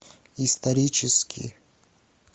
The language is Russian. исторический